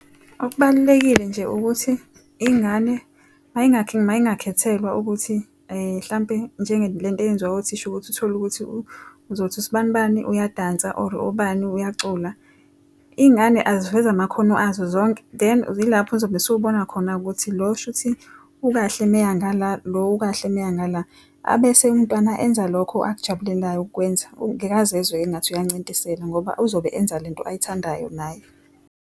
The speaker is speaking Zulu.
Okubalulekile nje ukuthi ingane mayingakhethelwa ukuthi hlampe njenge le nto eyenziwayo othisha ukuthi uthole ukuthi uzothi usibani bani uyadansa or ubani uyacula. Iy'ngane aziveze amakhono azo zonke, then yilapho uzobe esubona khona-ke ukuthi lo shuthi ukahle uma eya ngala, lo ukahle uma eya ngala. Abese umntwana enza lokho akujabulelayo ukukwenza. Ngeke azezwe engathi uyancintiselwa ngoba uzobe enza le nto ayithandayo naye.